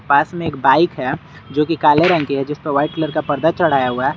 पास में एक बाइक है जोकि काले रंग की है जिसपे व्हाइट कलर का पर्दा चढ़ाया हुआ है।